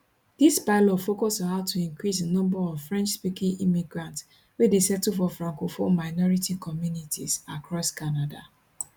dis pilot focus on how to increase di number of frenchspeaking immigrants wey dey settle for francophone minority communities across canada